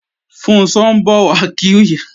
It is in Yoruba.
Funṣọ́ ń bọ̀ wá kí ìyàwó bàbá rẹ̀ lọ̀sán